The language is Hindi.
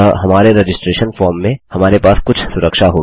अतः हमारे रजिस्ट्रैशन फॉर्म में हमारे पास कुछ सुरक्षा होगी